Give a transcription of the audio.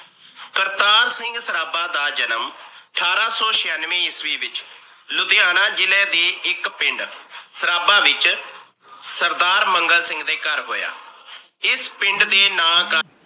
ਕਰਤਾਰ ਸਿੰਘ ਸਰਾਬਾ ਦਾ ਜਨਮ ਅਠਾਰਾਂ ਸੋ ਛਿਆਨਵੇਂ ਈਸਵੀ ਵਿਚ ਲੁਧਿਹਾਣਾ ਜਿਲ੍ਹੇ ਦੇ ਇੱਕ ਪਿੰਡ ਸਰਾਬਾ ਵਿਚ ਸਰਦਾਰ ਮੰਗਤ ਦੇ ਘਰ ਹੋਇਆ। ਇਸ ਪਿੰਡ ਦੇ ਨਾ